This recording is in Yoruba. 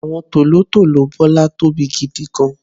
àwọn tòlótòló Bola tóbi gidigan